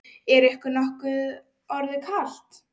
Er ykkur nokkuð orðið kalt?